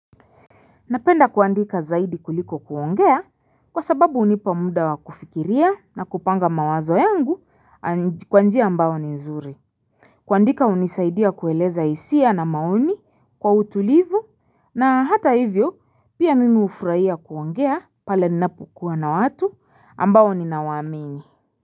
Napenda kuandika zaidi kuliko kuongea kwa sababu hunipa muda wa kufikiria na kupanga mawazo yangu kwa njia ambayo ni nzuri. Kuandika hunisaidia kueleza hisia na maoni kwa utulivu na hata hivyo pia mimi hufurahia kuongea pale ninapokuwa na watu ambao ninawaamini.